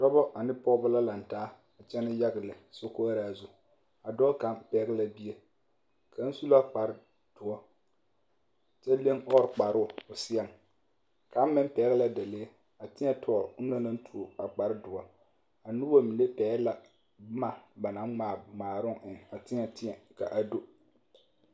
Dɔbɔ ane pɔgebɔ la lantaa a kyɛnɛ yage lɛ sokoɔraa zu a dɔɔ kaŋ pɛgele la bie kaŋ su la kpare doɔ kyɛ leŋ ɔɔre kparoo o seɛŋ kaŋ meŋ pɛgele la dalee a tēɛ tɔgele onaŋ naŋ tuo a kpare doɔ a noba mine pɛgele la boma ba naŋ ŋmaa ŋmaaroŋ eŋ a tēɛ tēɛ ka a do.